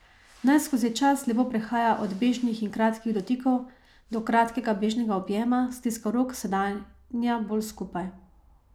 Naj skozi čas lepo prehaja od bežnih in kratkih dotikov do kratkega bežnega objema, stiska rok, sedanja bolj skupaj.